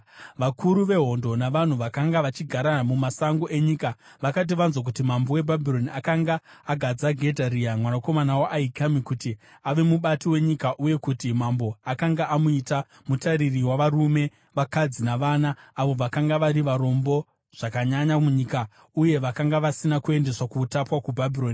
Vakuru vehondo navanhu vakanga vachigara mumasango enyika vakati vanzwa kuti mambo weBhabhironi akanga agadza Gedharia mwanakomana waAhikami kuti ave mubati wenyika uye kuti mambo akanga amuita mutariri wavarume, vakadzi navana, avo vakanga vari varombo zvakanyanya munyika uye vakanga vasina kuendeswa pautapwa kuBhabhironi,